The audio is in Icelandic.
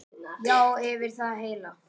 Já, yfir það heila.